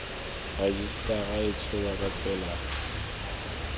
rejisetara e tsholwa ka tsela